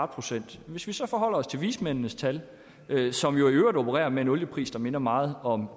procent hvis vi så forholder os til vismændenes tal som jo i øvrigt opererer med en oliepris der minder meget om